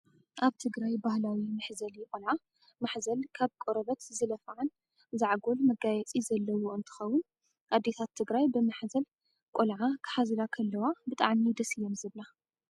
ኣብ ትግራይ ባህላዊ መሕዘሊ ቆልዓ ማሕዘል ካብ ቆርበት ዝለፈዓን ዛዕጎል መጋየፂ ዘለዎ እንትከውን ኣዴታት ትግራይ ብምሓዘል ቆልዓ ክሓዝላ ከለዋ ብጣዕሚ ደስ እየን ዝብላ።